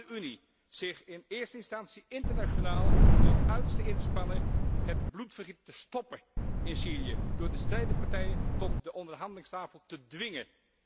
Laat de Unie zich in eerste instantie internationaal tot het uiterste inspannen om het bloedvergieten te stoppen in Syrië door de strijdende partijen tot de onderhandelingstafel te dwingen!